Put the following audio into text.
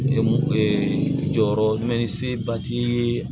jɔyɔrɔ mɛ ni se ba ti ye